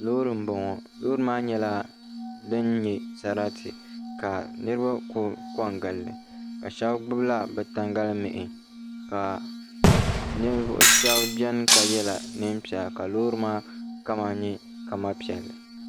Loori m boŋɔ loori maa nyɛla din nyɛ sarati ka niriba konko n gilli ka shɛbi gbibi la bɛ tangalimihi ka ninvuɣu shɛbi biɛni ka yɛla niɛm piɛlaka loori maa kama nye kama piɛlli.